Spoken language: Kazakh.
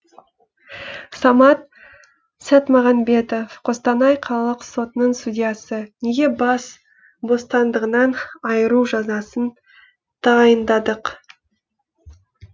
самат сәтмағанбетов қостанай қалалық сотының судьясы неге бас бостандығынан айыру жазасын тағайындадық